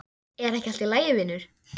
Er ekki allt í lagi vinur?